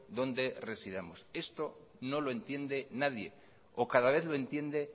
donde residamos esto no lo entiende nadie o cada vez lo entiende